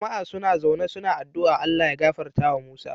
Jama a suna zaune suna adua ALLAH ya gafarta wa musa